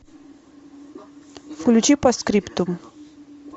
включи постскриптум